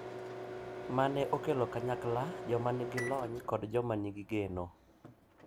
Ma ne okelo kanyakla joma nigi lony kod joma nigi geno